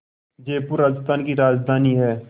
जयपुर राजस्थान की राजधानी है